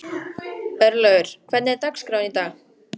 Örlaugur, hvernig er dagskráin í dag?